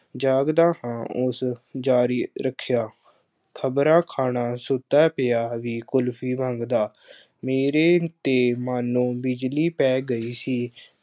ਜਾਗਦਾ ਹਾਂ। ਉਸ ਜਾਰੀ ਰੱਖਿਆ। ਖਬਰਾ ਖਾਣਾ ਸੁੱਤਾ ਪਿਆ ਵੀ ਕੁਲਫੀ ਮੰਗਦਾ। ਮੇਰੇ ਤੇ ਮਨ ਨੂੰ ਬਿਜਲੀ ਪੈ ਗਈ ਸੀ।